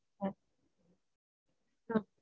ஆஹ்